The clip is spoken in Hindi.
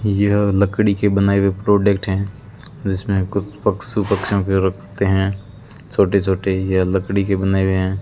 यह लकड़ी के बनाए हुए प्रोडक्ट है जिसमें कुछ पशु पक्षियों को रखते हैं छोटे छोटे यह लकड़ी के बनाए हुए है।